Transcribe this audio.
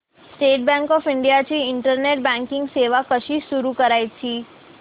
state Bank of India ची internet banking सेवा कशी सुरू करायची